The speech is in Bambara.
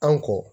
An ko